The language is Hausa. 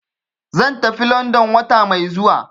Zan tafi London wata mai zuwa.